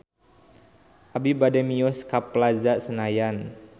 Abi bade mios ka Plaza Senayan